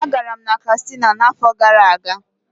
Ee, agara m Katsina n'afọ gara aga.